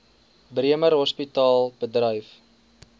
bremer hospitaal bedryf